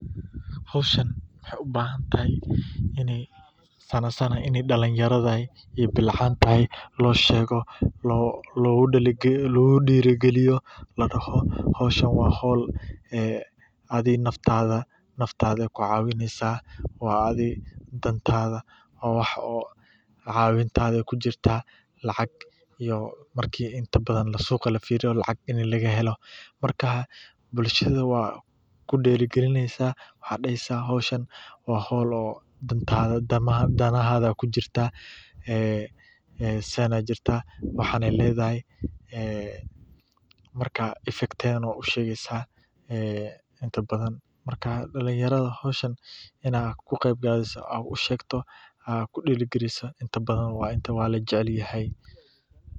Xoshan waxy ubahantahay ina saana saana dalinyarad iyo bilcanta lo shego logu dirkaliyo ladaho xoshan wa xol, adiga naftada ku cawinaysah wa adiga dantada wa adiga cawintada adiga kujirtah lacag iyo marki inta badan la sogali firiyo lacag laga helo marka bulshada wa ku dirkalinasah xoshan wa xol oh. dantada danahada kujirtah aa saan aya jirta waxan ayay ladahay ah marka effectatada nah wad u shegsah, ah inta badan marka dalinyarada xoshan ina ku ad u shegtoh a ku dirgliso aya la rabah inta badan waya wa la jacelyahay.